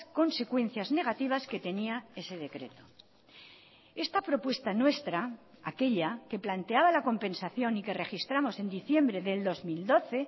consecuencias negativas que tenía ese decreto esta propuesta nuestra aquella que planteaba la compensación y que registramos en diciembre del dos mil doce